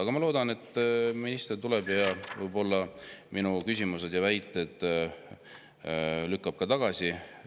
Aga ma loodan, et minister tuleb ja lükkab minu küsimustes kõlanud väited tagasi.